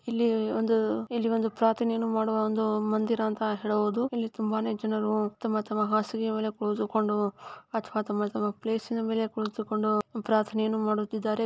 ಇಲ್ಲಿ ಒಂದು ಇಲ್ಲಿ ಒಂದು ಪ್ರಾರ್ಥನೆ ಮಾಡುವಬಂತಹ ಮಂದಿರ್ ಅಂತ ಹೇಳಬಹುದು .ಇಲ್ಲಿ ತುಂಬಾನೇ ಜನರು ಹಾಸಿಗೆ ಮೇಲೆ ಕುಳಿತುಕೊಂಡು ತಮ್ಮ್ ಪ್ಲೇಸ್ ಮೇಲೆ ಕುಳಿತುಕೊಂಡು ಪ್ರಾರ್ಥನೆಯನ್ನು ಮಾಡುತ್ತಿದ್ದಾರೆ.